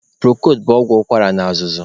Prokod bụ ọgwụ ụkwara na azụzụ.